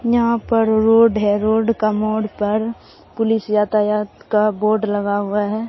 यहां पर रोड है रोड का मोड़ पर पुलिस यातायात का बोड लगा हुआ है।